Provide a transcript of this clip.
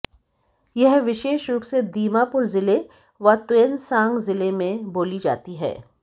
यह विशेष रूप से दीमापुर ज़िले व तुएनसांग ज़िले में बोली जाती है